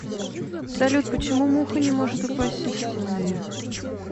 салют почему муха не может упасть со стены